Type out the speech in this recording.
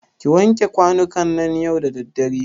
Ki wanke kwanukan nan yau da daddare.